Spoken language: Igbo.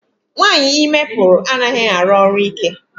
Nwaanyị ime pụrụ anaghị arụ ọrụ ike.